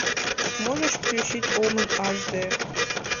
можешь включить омен аш дэ